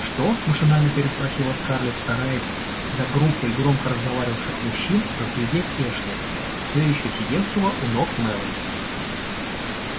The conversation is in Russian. что машинально переспросила скарлетт стараясь за группой громко разговаривавших мужчин разглядеть эшли все ещё сидевшего у ног мелани